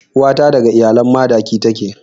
Uwa ta daga iyalan Madaki take.